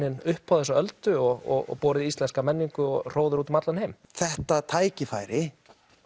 upp á þessa öldu og borið íslenska menningu og hróður hennar út um allan heim þetta tækifæri